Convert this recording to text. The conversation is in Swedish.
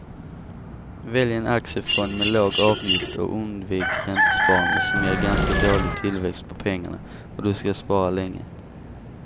Välj en aktiefond med låg avgift och undvik räntesparande som ger ganska dålig tillväxt på pengarna om du ska spara länge.